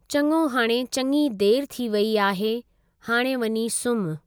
चङो हाणे चङी देरि थी वेई आहे हाणे वञी सुम्हु।